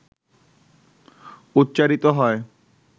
উচ্চারিত হয়,